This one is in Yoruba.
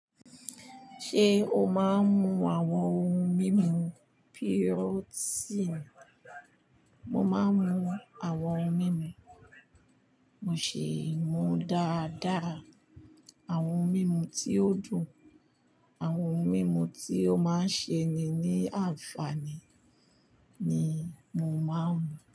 Ṣé o máa ń mu àwọn ohun mímu protein? Mo máa ń mu àwọn ohun mímu, mo ṣì ń mu dáadáa àwọn ohun mímu tí ó dùn, àwọn ohun mímu tí ó máa ń ṣe ni ní àǹfààní ni mo máa ń mu.